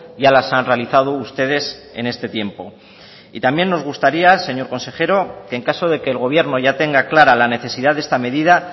ya las han realizado ustedes en este tiempo y también nos gustaría señor consejero en caso de que el gobierno ya tenga clara la necesidad de esta medida